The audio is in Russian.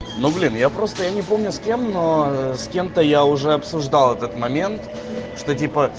ну блин я просто я не помню с кем но с кем-то я уже обсуждал этот момент что типо